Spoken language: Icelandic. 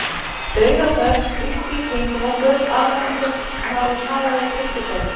Dauðaþögn ríkti í kringum okkur- alveg eins og maður vill hafa það í kirkjugörðum.